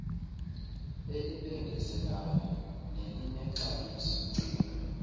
elibengezelayo nelinexabiso cinga